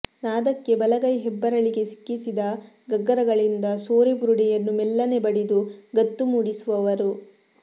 ನಾದಕ್ಕೆ ಬಲಗೈ ಹೆಬ್ಬೆರಳಿಗೆ ಸಿಕ್ಕಿಸಿದ ಗಗ್ಗರಗಳಿಂದ ಸೋರೆ ಬುರುಡೆಯನ್ನು ಮೆಲ್ಲನೆ ಬಡಿದು ಗತ್ತು ಮೂಡಿಸುವರು